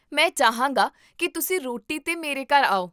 ਮੈਂ ਚਾਹਾਂਗਾ ਕੀ ਤੁਸੀਂ ਰੋਟੀ 'ਤੇ ਮੇਰੇ ਘਰ ਆਉ